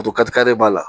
tokarikari b'a la